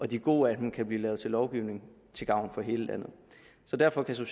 de gode af dem kan blive lavet til lovgivning til gavn for hele landet så derfor kan